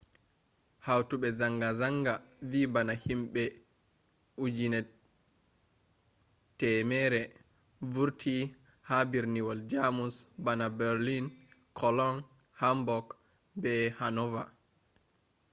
hautobe zanga-zanga vi bana himbe 100,000 vurti ha birniwol jamus bana berlin cologne hamburg be hannover